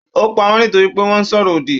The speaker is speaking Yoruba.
Ó pa wọ́n nítorí pé wọ́n sọ̀rọ̀ òdì.